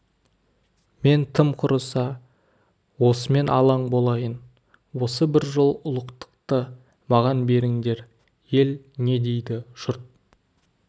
мен тым құрыса осымен алаң болайын осы бір жол ұлықтықты маған беріңдер ел не дейді жұрт